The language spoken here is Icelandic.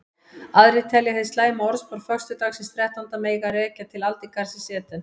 Aðrir telja hið slæma orðspor föstudagsins þrettánda mega rekja til aldingarðsins Eden.